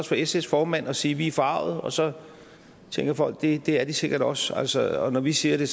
for sfs formand at sige vi er forargede og så tænker folk at det er de sikkert også også og når vi siger det